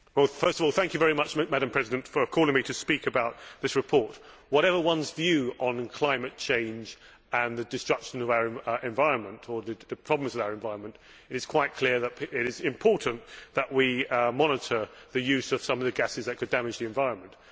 First of all, thank you very much for calling me to speak about this report. Whatever one's view on climate change and the destruction of our environment or the problems with our environment, it is quite clear that it is important that we monitor the use of some of the gases that could damage the environment.